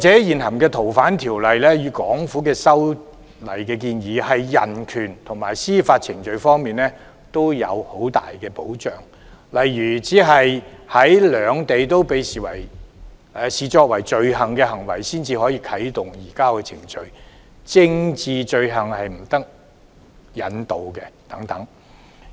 現行《逃犯條例》與港府的修例建議，對人權及司法程序均有很大保障，例如只有在兩地均被視作罪行的行為才可啟動移交程序、政治罪犯不得引渡等。